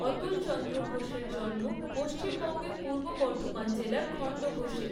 অতুলচন্দ্র ঘোষের জন্ম পশ্চিমবঙ্গের পূর্ব বর্ধমান জেলার খণ্ডঘোষে।